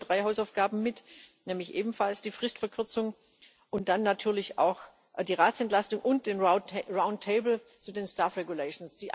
Ich selbst nehme drei Hausaufgaben mit, nämlich ebenfalls die Fristverkürzung und dann natürlich auch die Ratsentlastung und den runden Tisch zum Personalstatut.